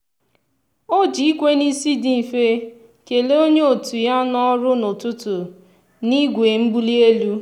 o ji ikwe n'isi dị mfe kelee onye otu ya n'ọrụ na "ụtụtụ" n'igwe mbuli elu.